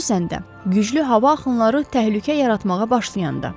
Xüsusən də, güclü hava axınları təhlükə yaratmağa başlayanda.